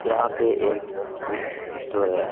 यहाँ पे एक बुक स्टोर है।